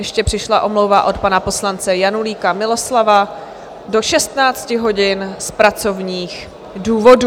Ještě přišla omluva od pana poslance Janulíka Miloslava do 16 hodin z pracovních důvodů.